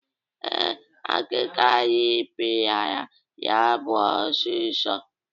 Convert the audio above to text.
Ee, akịka rịpịara ya bụ osisi.